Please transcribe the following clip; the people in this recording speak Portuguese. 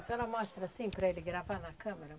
A senhora mostra assim para ele gravar na câmera.